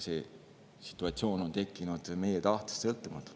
See situatsioon on tekkinud meie tahtest sõltumatult.